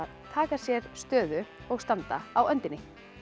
taka sér stöðu og standa á öndinni